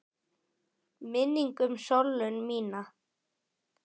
Minning um Sollu mína.